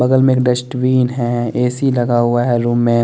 बगल में एक डस्टबिन है ए_सी लगा हुआ है रूम में --